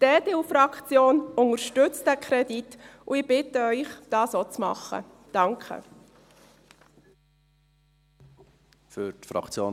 Die EDU-Fraktion unterstützt diesen Kredit, und ich bitte Sie, dies auch zu tun.